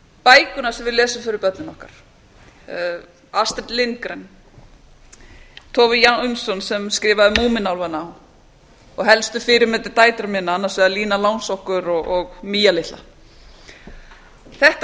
bækurnar sem við lesum fyrir börnin okkar astrid lindgren tove sem skrifaði múmínálfana og helstu fyrirmyndir dætra minna annars vegar lína langsokkur og mía litla þetta